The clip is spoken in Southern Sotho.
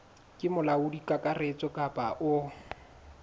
ke molaodi kakaretso kapa o